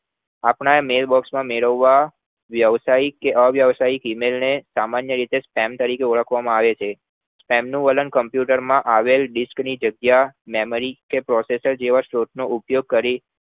આપના mailBox મેળવવા વ્યવસાયિક કે અવ્યાવસાયિક email ને સામાન્ય રીતે spam તરીકે ઓળખવામાં આવે છે spam વલણ computer માં આવેલ disc ની જગ્યા memory કે processor જેવા સ્ત્રોત નો ઉપયોગ કરી